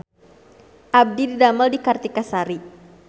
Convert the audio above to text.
Abdi didamel di Kartika Sari